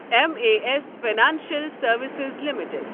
M A S financial services limited